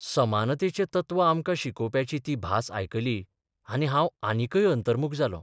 समानतेचें तत्व आमकां शिकोवप्याची ती भास आयकली आनी हांव आनिकय अंतर्मुख जालों.